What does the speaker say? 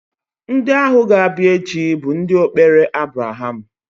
Ndị ahụ ga-abịa echi bụ ndụ okpere Abraham